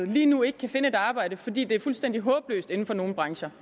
lige nu ikke kan finde et arbejde fordi det er fuldstændig håbløst inden for nogle brancher